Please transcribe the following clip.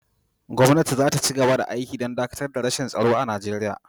Gwamnati za ta ci gaba da aiki don dakatar da rashin tsaro a Nigeriya.